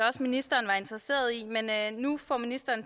ministeren var interesseret i men nu får ministeren